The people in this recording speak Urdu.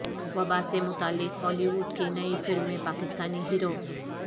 وبا سے متعلق ہالی ووڈ کی نئی فلم میں پاکستانی ہیرو